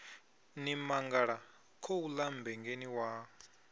ni mangala khouḽa mmbengeni wa